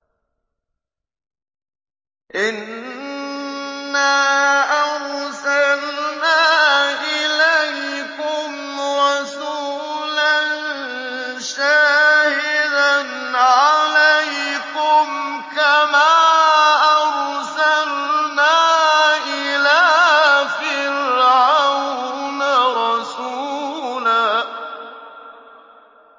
إِنَّا أَرْسَلْنَا إِلَيْكُمْ رَسُولًا شَاهِدًا عَلَيْكُمْ كَمَا أَرْسَلْنَا إِلَىٰ فِرْعَوْنَ رَسُولًا